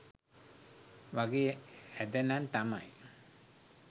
වගේ ඇද නං තමයි.